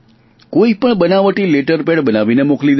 કોઇ પણ બનાવટી લેટરપેડ બનાવીને મોકલી દે છે